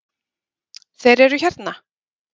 Þeir eru hérna!